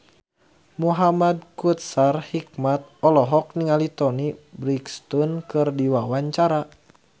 Muhamad Kautsar Hikmat olohok ningali Toni Brexton keur diwawancara